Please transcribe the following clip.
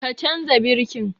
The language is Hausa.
Ka canza birkin!